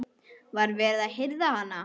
Var verið að hirða hann?